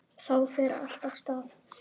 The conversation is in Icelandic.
Þá fer allt af stað.